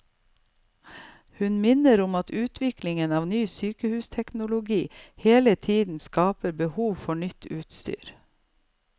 Hun minner om at utviklingen av ny sykehusteknologi hele tiden skaper behov for nytt utstyr.